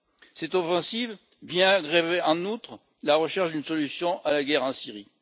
Cette offensive vient grever, en outre, la recherche d'une solution à la guerre en Syrie.